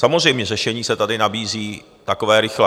Samozřejmě řešení se tady nabízí takové rychlé.